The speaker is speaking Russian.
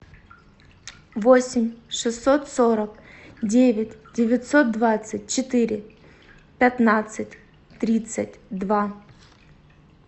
восемь шестьсот сорок девять девятьсот двадцать четыре пятнадцать тридцать два